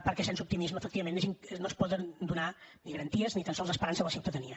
perquè sense optimisme efectivament no es poden donar ni garanties ni tan sols esperança a la ciutadania